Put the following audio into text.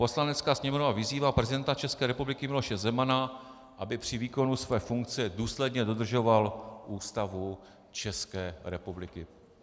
Poslanecká sněmovna vyzývá prezidenta České republiky Miloše Zemana, aby při výkonu své funkce důsledně dodržoval Ústavu České republiky.